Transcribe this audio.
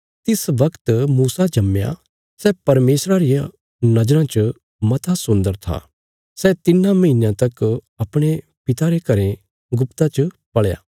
तिस बगत मूसा जम्मया सै परमेशरा री नज़राँ च मता सुन्दर था सै तिन्नां महीनयां तका अपणे पिता रे घरें गुप्त च पल़या